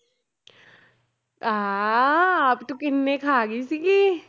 ਆਹ ਆਪ ਤੂੰ ਕਿੰਨੇ ਖਾ ਗਈ ਸੀਗੀ।